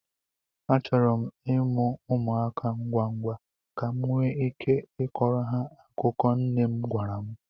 Achọrọ m ịmụ ụmụaka ngwa ngwa, ka m nwee ike ịkọrọ ha akụkọ nne m gwara m.